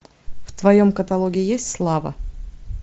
в твоем каталоге есть слава